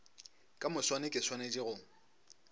ka moswane ke swanetše go